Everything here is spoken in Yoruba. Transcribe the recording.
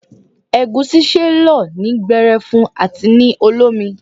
Egusi ṣe lọ ní gberefu àti ní olómi.